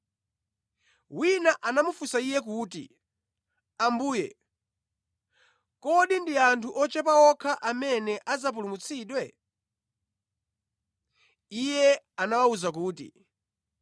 Wina anamufunsa Iye kuti, “Ambuye, kodi ndi anthu ochepa okha amene adzapulumutsidwe?” Iye anawawuza kuti,